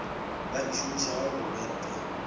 ba e šomišago go betla